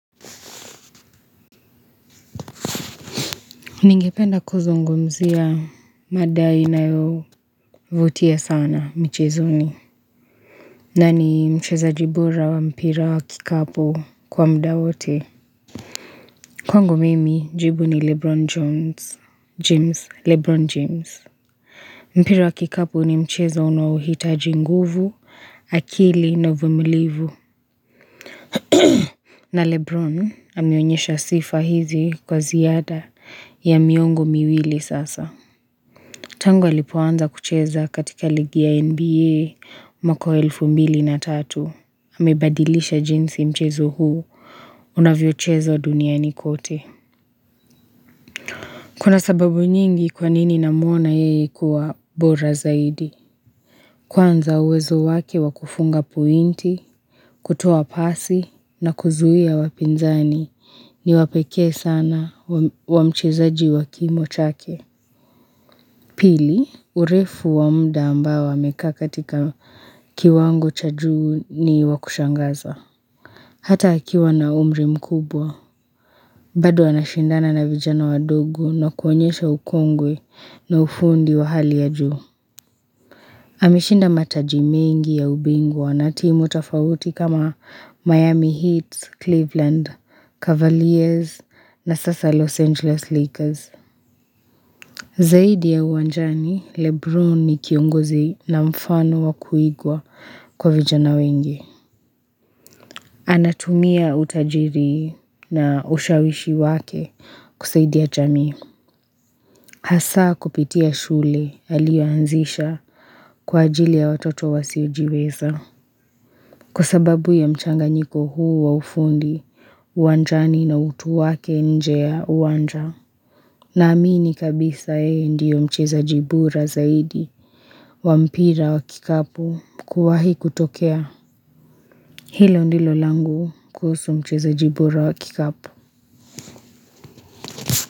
Ningependa kuzungumzia mada inayo vutia sana michezoni. Na ni mchezaji bora wa mpira wa kikapu kwa muda wote. Kwangu mimi, jibu ni Lebron jones, James, Lebron James. Mpira wa kikapu ni mchezo unao hitaji nguvu, akili na uvumilivu. Na Lebron ameonyesha sifa hizi kwa ziada ya miongo miwili sasa. Tangu alipo anza kucheza katika ligi ya NBA mwaka wa elfu mbili na tatu. Amebadilisha jinsi mchezo huu unavyochezwa duniani kote. Kuna sababu nyingi kwanini na mwona yeye kuwa bora zaidi. Kwanza uwezo wake wakufunga pointi, kutoa pasi na kuzuia wapinzani ni wapekee sana wa mchezaji wakimo chake. Pili, urefu wa muda ambao amekaa katika kiwango cha juu ni wa kushangaza. Hata akiwa na umri mkubwa, bado ana shindana na vijana wadogo na kuonyesha ukongwe ni ufundi wa hali ya juu. Ameshinda mataji mengi ya ubingwa na timu tofauti kama Miami Heat, Cleveland, Cavaliers na sasa Los Angeles Lakers. Zaidi ya uwanjani, Lebron ni kiongozi na mfano wa kuigwa kwa vijana wengi. Anatumia utajiri na ushawishi wake kusaidia jamii. Hasaa kupitia shule alioanzisha kwa ajili ya watoto wasio jiweza. Kwa sababu ya mchanganyiko huu wa ufundi, uwanjani na utu wake nje ya uwanja. Na amini kabisa yeye ndio mchezaji bora zaidi wa mpira wa kikapu kuwahi kutokea Hilo ndilo langu kuhusu mchezaji bora wa kikapu.